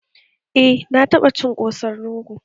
Eh, na taɓa cin ƙosan rogo